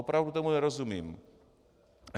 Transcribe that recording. Opravdu tomu nerozumím.